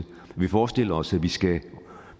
vi forestiller os at vi skal